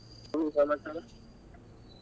ಹ್ಮ್ ಇನ್ ಏನ್ ಸಮಾಚಾರ.